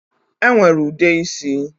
E nwere ude isi